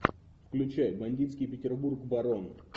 включай бандитский петербург барон